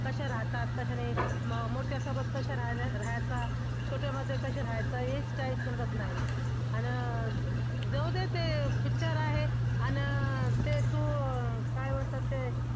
कशा राहतात कशा नाही. मोठ्या सोबत कशा राहायचं. छोट्यामध्ये कसं राहायचं हेच काय समजत नाही अन जाऊ दे ते picture आहे आणि ते तू काय म्हणतात ते